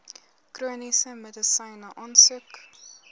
chroniese medisyne aansoek